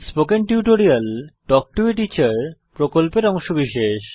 spoken tutorial talk to a teacher প্রকল্পের অংশবিশেষ